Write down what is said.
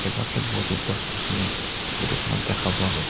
বহুতো গছ-গছনি ফটো খনত দেখা পোৱা গ'ল।